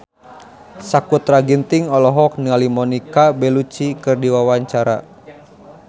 Sakutra Ginting olohok ningali Monica Belluci keur diwawancara